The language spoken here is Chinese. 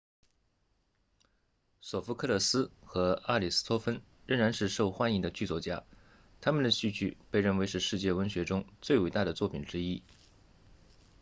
索福克勒斯 sophocles 和阿里斯托芬 aristophanes 仍然是受欢迎的剧作家他们的戏剧被认为是世界文学中最伟大的作品之一